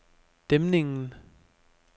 Dæmningen